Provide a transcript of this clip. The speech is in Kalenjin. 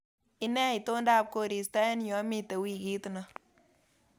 Inee itondab koristo eng yu amite wiikit ni